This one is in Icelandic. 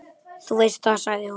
Þú veist það, sagði hún.